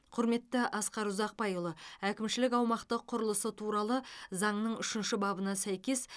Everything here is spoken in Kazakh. құрметті асқар ұзақбайұлы әкімшілік аумақтық құрылысы туралы заңының үшінші бабына сәйкес